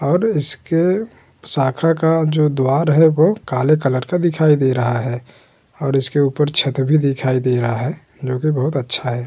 और इसके शाखा का जो द्वार है वो काले कलर का दिखाई दे रहा है और इसके ऊपर छत भी दिखाई दे रहा है जोकि बहोत अच्छा है।